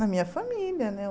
Na minha família, né?